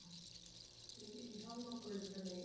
me fala uma coisa também.